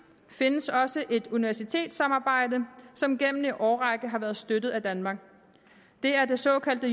findes også et universitetssamarbejde som gennem en årrække har været støttet af danmark det er det såkaldte